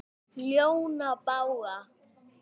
ljóna bága